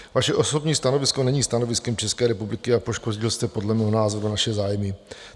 Vaše osobní stanovisko není stanoviskem České republiky a poškodil jste, podle mého názoru, naše zájmy.